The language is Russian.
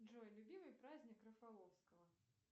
джой любимый праздник рафаловского